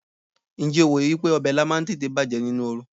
Ǹjẹ́ o wòye wípé ọbẹ̀ Ilá máa ń tètè bàjẹ́ nínú oru?